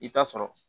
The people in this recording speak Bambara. I bi taa sɔrɔ